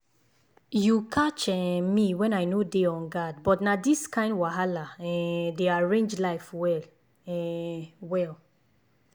you catch um me when i no dey on guardbut na these kind wahala um dey arrange life well um well.